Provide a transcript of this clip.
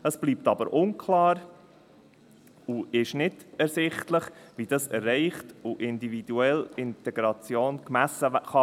Es bleibt aber unklar und ist nicht ersichtlich, wie das erreicht werden soll und wie individuelle Integration gemessen werden kann.